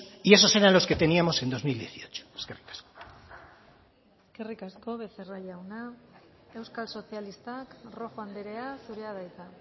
y esos eran los que teníamos en dos mil dieciocho eskerrik asko eskerrik asko becerra jauna euskal sozialistak rojo andrea zurea da hitza